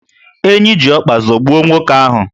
Enyi ji ọkpa zọgbuo nwoke ahu